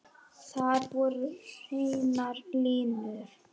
Þar voru hreinar línur.